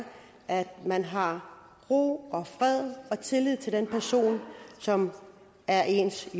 at man har ro og fred og tillid til den person som er ens